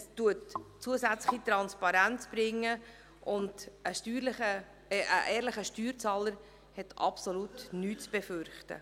Es bringt zusätzliche Transparenz, und ein ehrlicher Steuerzahler hat absolut nichts zu befürchten.